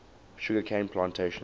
sugar cane plantations